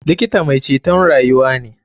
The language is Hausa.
Likita mai ceton rayuwa ne.